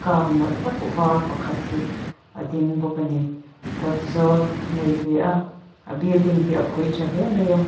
car nalh tak var pakhat hi a ding bawk a ni kawt zawl hi a nei ve a a building hi a phui tha hle mai a.